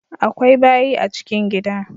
Akwai bayi a chikin gida